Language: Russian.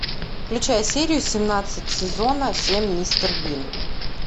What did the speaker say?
включай серию семнадцать сезона семь мистер бин